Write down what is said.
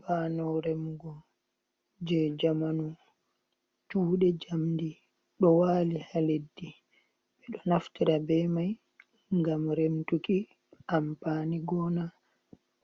Bano remugo je zamanu cude jamdi do wali ha leddi be do naftira be mai gam remtuki, ampani gona